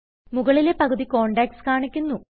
മുകളിലെ പകുതി കോണ്ടാക്ട്സ് കാണിക്കുന്നു